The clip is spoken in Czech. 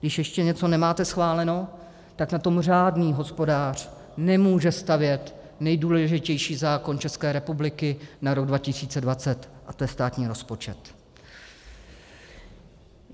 Když ještě něco máte neschváleno, tak na tom řádný hospodář nemůže stavět nejdůležitější zákon České republiky na rok 2020, a to je státní rozpočet.